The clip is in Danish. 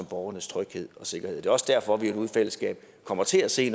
borgernes tryghed og sikkerhed det er også derfor vi nu i fællesskab kommer til at se